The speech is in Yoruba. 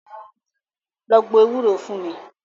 Lọ gbo ewúro fún mi!